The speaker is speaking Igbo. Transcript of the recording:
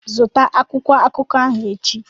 Zụta akwụkwọ akụkọ ahụ echi!